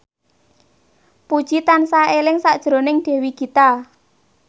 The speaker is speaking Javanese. Puji tansah eling sakjroning Dewi Gita